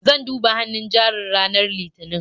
Zan duba hannun jarin ranar Litinin.